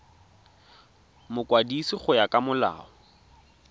mokwadisi go ya ka molao